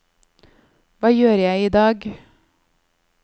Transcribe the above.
hva gjør jeg idag